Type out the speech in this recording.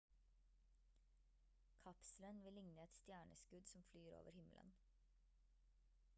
kapselen vil ligne et stjerneskudd som flyr over himmelen